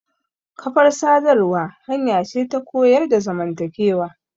Kafar sadarwa hanya ce ta koyar da zamantakewa.